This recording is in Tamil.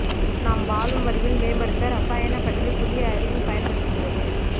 நாம் வாழும் வழியில் மேம்படுத்த இரசாயன பற்றி புதிய அறிவு பயன்படுத்துகிறது